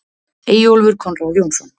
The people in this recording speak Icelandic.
Eyjólfur Konráð Jónsson.